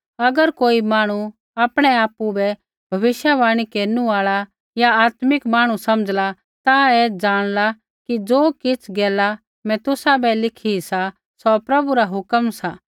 अगर कोई मांहणु आपणै आपु बै भविष्यवाणी केरनु आल़ा या आत्मिक जन समझ़ला ता ऐ जाँणला कि ज़ो किछ़ गैला मैं तुसाबै लिखी सी सौ प्रभु रा हुक्म सा